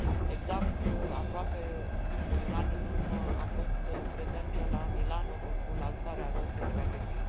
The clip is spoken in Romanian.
Exact aproape cu un an în urmă am fost prezentă la Milano pentru lansarea acestei strategii.